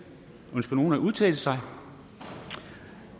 ønsker nogen at udtale sig